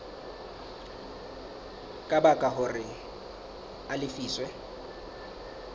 ka baka hore a lefiswe